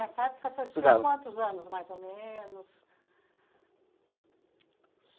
Nessa época, o senhor tinha quantos anos, mais ou menos?